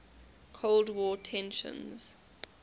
cold war tensions